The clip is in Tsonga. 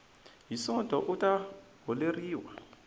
hi sonto u ta holeriwa